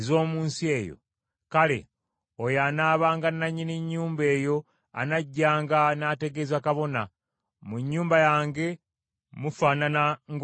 kale, oyo anaabanga nannyini nnyumba eyo anajjanga n’ategeeza kabona nti, ‘Mu nnyumba yange mufaanana ng’omuli obulwadde.’